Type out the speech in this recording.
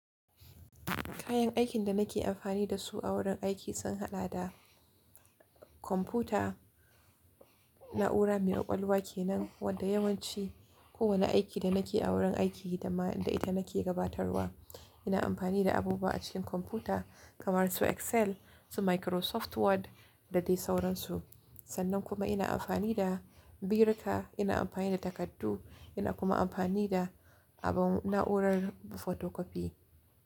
Kayan aikin da nake amfani da su a wurin aiki sun haɗa da kwamfuta, na’ura mai ƙwaƙwalwa kenan wadda yawanci kowane aiki da nake a wurin aiki da ma inda nake gabatarwa, ina amfani da abubuwa a cikin kwamfuta kamar su Excel, su Microsoft Word da dai sauransu. Sannan kuma ina amfani da biruka, ina amfani da takardu, ina kuma amfani da abun na’urar photocopy.